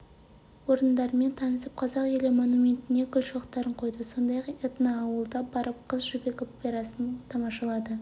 орындармен танысып қазақ елі монументіне гүл шоқтарын қойды сондай-ақ этноауылды барып қыз жібек операсын тамашалады